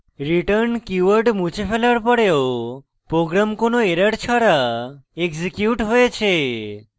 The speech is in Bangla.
return keyword মুছে ফেলার পড়েও program কোনো error ছাড়া এক্সিকিউট হয়েছে